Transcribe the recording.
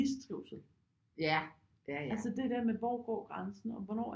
Mistrivsel altså det der med hvor går grænsen og hvornår